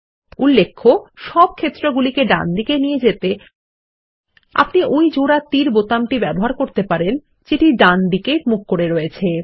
উল্লেখ্য সব ক্ষেত্রগুলিকে ডানদিকে নিয়ে যেতে আপনি ওই জোড়া তীর বোতাম ব্যবহার করতে পারেন যেটি ডানদিকে মুখ করে আছে